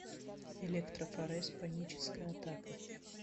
электрофорез паническая атака